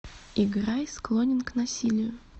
играй склонен к насилию